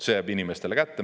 See jääb inimestele kätte.